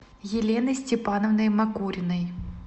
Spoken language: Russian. еленой степановной макуриной